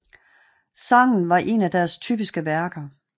Sangen var en af deres typiske værker